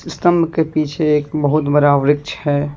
स्तंभ के पीछे एक बहुत बरा वृक्ष है।